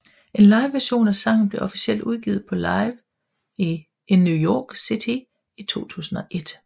En liveversion af sangen blev officielt udgivet på Live in New York City i 2001